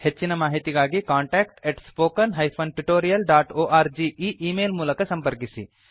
ಹೆಚ್ಚಿನ ಮಾಹಿತಿಗಾಗಿ contact spoken tutorialorg ಈ ಈ ಮೇಲ್ ಮೂಲಕ ಸಂಪರ್ಕಿಸಿ